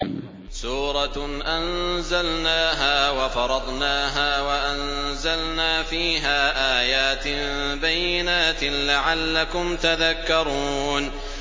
سُورَةٌ أَنزَلْنَاهَا وَفَرَضْنَاهَا وَأَنزَلْنَا فِيهَا آيَاتٍ بَيِّنَاتٍ لَّعَلَّكُمْ تَذَكَّرُونَ